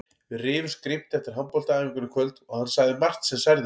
Við rifumst grimmt eftir handboltaæfinguna í kvöld og hann sagði margt sem særði mig.